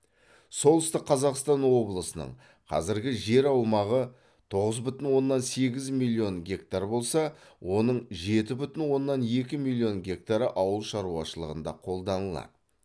солтүстік қазақстан облысының қазіргі жер аумағы тоғыз бүтін оннан сегіз миллион гектар болса оның жеті бүтін оннан екі миллион гектары ауыл шаруашылығында қолданылады